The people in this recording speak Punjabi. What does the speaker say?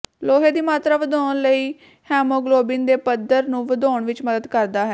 ਲੋਹੇ ਦੀ ਮਾਤਰਾ ਵਧਾਉਣ ਲਈ ਹੈਮੋਗਲੋਬਿਨ ਦੇ ਪੱਧਰ ਨੂੰ ਵਧਾਉਣ ਵਿਚ ਮਦਦ ਕਰਦਾ ਹੈ